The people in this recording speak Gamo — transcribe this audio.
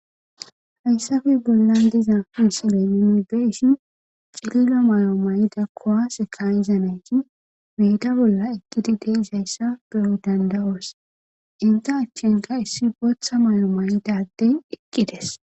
Hayssafe bollan diza misile nuni be7ishin cilila mayo mayida kuwaase kaa7iza nayti meeda bolla eqqidi de7izayssa be7o dandda7oos. Entta achankka issi bootha mayo mayida addey eqqides.